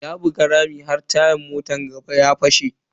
Ya buga rami har tayan motan gaba ya fashe.